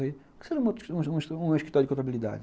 Por que você não monta um um escritório de contabilidade?